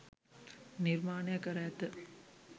නිර්මාණය කර ඇත